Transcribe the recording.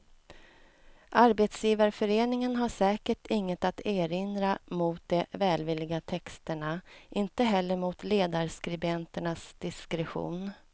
Arbetsgivarföreningen har säkert inget att erinra mot de välvilliga texterna, inte heller mot ledarskribenternas diskretion.